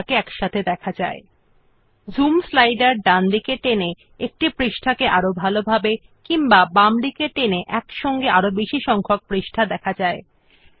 we can also drag the zoom slider to the right to zoom into a page or to the left to show more pages